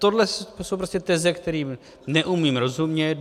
Tohle jsou prostě teze, kterým neumím rozumět.